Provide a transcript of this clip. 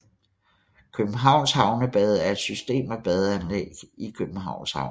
Københavns Havnebade er et system af badeanlæg i Københavns Havn